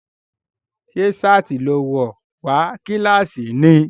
Ṣé ṣáàtì ló wọ̀ wá kílàsì ni?